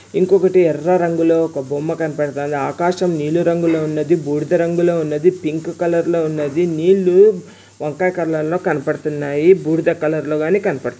ఇంకొకటి ఎర్ర రంగులో ఒక బొమ్మ కనపడతాంది. ఆకాశం నీలు రంగులో ఉన్నది. బూడిద రంగులో ఉన్నది.పింక్ కలర్ లో ఉన్నది. నీళ్లు వంకాయ్ కలర్ లో కనబడుతున్నాయి. బూడిద కలర్ లో గాని కనబడుతున్నాయి.